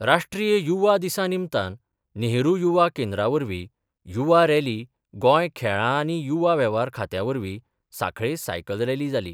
राष्ट्रीय युवा दिसा निमतान नेहरू युवा केंद्रा वरवीं युवा रॅली गोंय खेळां आनी युवा वेव्हार खात्या वरवीं सांखळे सायकल रॅली जाली.